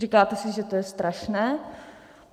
Říkáte si, že to je strašné.